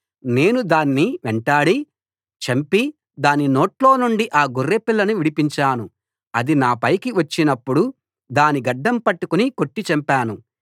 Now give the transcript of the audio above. నేను దాన్ని వెంటాడి చంపి దాని నోట్లో నుండి ఆ గొర్రెపిల్లను విడిపించాను అది నాపైకి వచ్చినప్పుడు దాని గడ్డం పట్టుకుని కొట్టి చంపాను